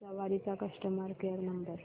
सवारी चा customer care number